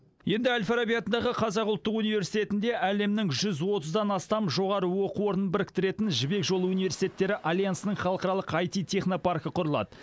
енді әл фараби атындағы қазақ ұлттық университетінде әлемнің жүз отыздан астам жоғары оқу орнын біріктіретін жібек жолы университеттері альянсының халықаралық аити технопаркі құрылады